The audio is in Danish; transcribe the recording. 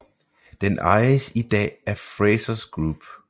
Den ejes i dag af Frasers Group